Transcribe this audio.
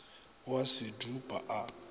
o a se dupa a